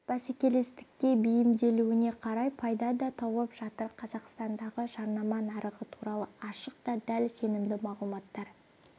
бәсекелестікке бейімделуіне қарай пайда да тауып жатыр қазақстандағы жарнама нарығы туралы ашық та дәл сенімді мағлұматтар